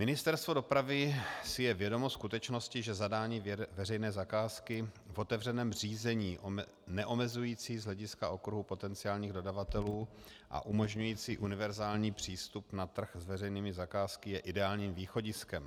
Ministerstvo dopravy si je vědomo skutečnosti, že zadání veřejné zakázky v otevřeném řízení neomezující z hlediska okruhu potenciálních dodavatelů a umožňující univerzální přístup na trh s veřejnými zakázkami je ideálním východiskem.